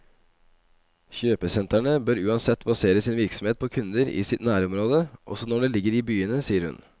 Kjøpesentrene bør uansett basere sin virksomhet på kunder i sitt nærområde, også når de ligger i byene, sier hun.